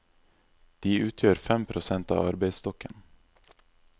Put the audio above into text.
De utgjør fem prosent av arbeidsstokken.